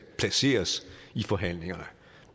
placeres i forhandlingerne